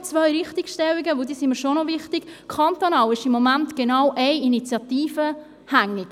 Nun noch zwei Richtigstellungen, die mir schon noch wichtig sind: Kantonal ist im Moment genau eine Initiative hängig.